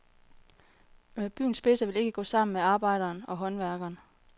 Byens spidser vil ikke gå sammen med arbejderen og håndværkeren.